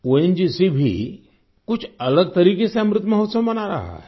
ONGC भी कुछ अलग तरीके से अमृत महोत्सव मना रहा है